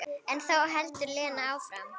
En þá heldur Lena áfram.